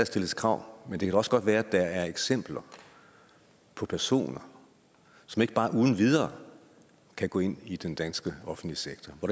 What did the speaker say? stilles krav men det kan da også godt være at der er eksempler på personer som ikke bare uden videre kan gå ind i den danske offentlige sektor og